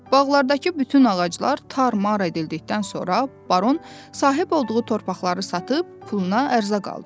Bağlardakı bütün ağaclar tər mar edildiydikdən sonra baron sahib olduğu torpaqları satıb, puluna ərzaq aldı.